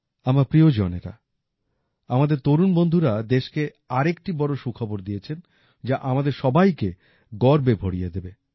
আমার প্রিয়জনের আমাদের তরুণ বন্ধুরা দেশকে আরেকটি বড় সুখবর দিয়েছেন যা আমাদের সবাইকে গর্বে ভরিয়ে দেবে